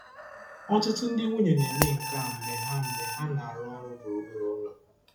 Ọtụtụ ndị nwunye na-eme nke a mgbe ha mgbe ha na-arụ ọrụ gburugburu ụlọ.